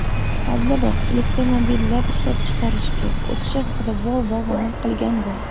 Oldinroq elektromobillar ishlab chiqarishga o‘tishi haqida Volvo ma’lum qilgandi.